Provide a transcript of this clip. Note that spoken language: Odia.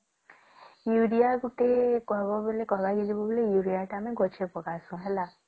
ୟୁରିଆ ଗୋଟେ କହିବା ବୋଲେ ୟୁରିଆ ଟେ ଆମେ ଗଛରେ ପକାଶେ ହେଲା